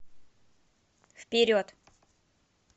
вперед